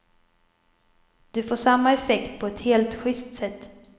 Du får samma effekt på ett helt juste sätt.